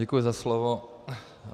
Děkuji za slovo.